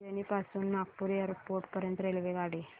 अजनी पासून नागपूर एअरपोर्ट पर्यंत रेल्वेगाडी